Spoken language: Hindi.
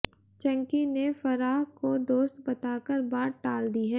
चंकी ने फराह को दोस्त बताकर बात टाल दी है